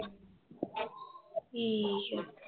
ਠੀਕ ਆ l